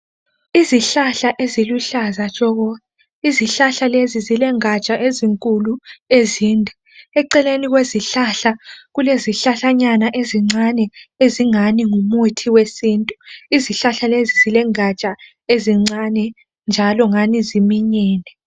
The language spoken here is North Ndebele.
Izihlahla eziluhlaza tshoko. Izihlahla lezi zilengaja ezinkulu ezinde. Eceleni kwezihlahla kulezihlahlanyana ezincane ezingani ngumuthi wesintu. Izihlahla lezi zilengaja ezincane njalo ngani ziminyene.